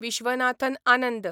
Viswanathan Anand